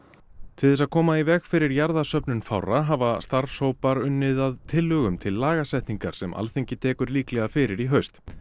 til þess að koma í veg fyrir fárra hafa starfshópar unnið að tillögum til lagasetningar sem Alþingi tekur líklega fyrir í haust